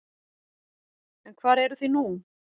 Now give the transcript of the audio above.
En hvar eruð þið nú?